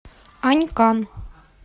анькан